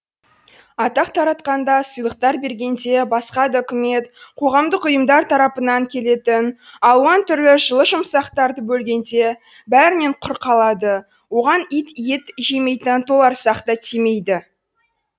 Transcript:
атақ таратқанда сыйлықтар бергенде басқа да үкімет қоғамдық ұйымдар тарапынан келетін алуан түрлі жылы жұмсақтарды бөлгенде бәрінен құр қалады оған ит жемейтін толарсақ та тимейді